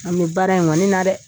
An be baara in ŋɔni na dɛ.